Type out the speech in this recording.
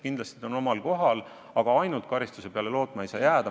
Kindlasti ta on omal kohal, aga ainult karistuse peale lootma ei maksa jääda.